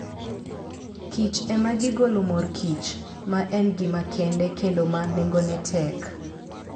Kichema gigolo mor kich, ma en gima kende kendo ma nengone tek.